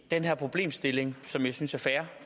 den her problemstilling som jeg synes er fair